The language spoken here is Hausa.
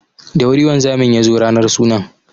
Da wuri wanzamin ya zo ranar sunan.